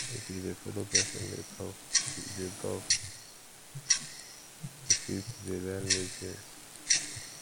if you de follow persin de talk you de talk you fit de learn new things